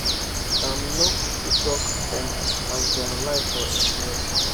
im nor kukuma talk um as dem lie for im head